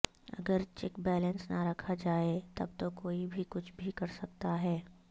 اگر check balance نہ رکھا جائے تب تو کوئی بھی کچھ بھی کر سکتا ہے